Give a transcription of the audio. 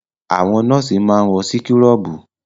Àwọn nọ́ọ̀sì máa ń wọ síkúrọ̀bù.